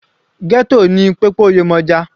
Ghetto ni popoyemoja.